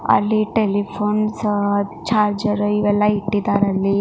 ಅಲ್ಲಿ telephones charger ಇವೆಲ್ಲ ಇಟ್ಟಿದ್ದಾರೆ ಅಲ್ಲಿ.